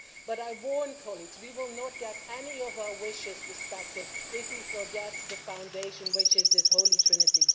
But I warn colleagues that we will not get any of our wishes respected if we forget the foundation which is this holy trinity.